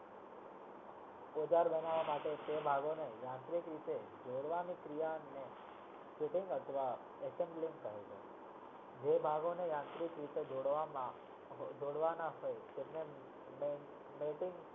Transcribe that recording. ઓઝર ભણવા માટે તે ભાઘોના જોડવા